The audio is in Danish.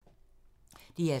DR2